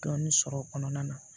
Dɔɔnin sɔrɔ o kɔnɔna na